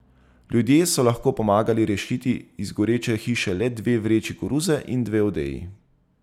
Ljudje so lahko pomagali rešiti iz goreče hiše le dve vreči koruze in dve odeji.